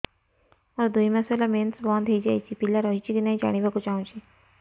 ମୋର ଦୁଇ ମାସ ହେଲା ମେନ୍ସ ବନ୍ଦ ହେଇ ଯାଇଛି ପିଲା ରହିଛି କି ନାହିଁ ଜାଣିବା କୁ ଚାହୁଁଛି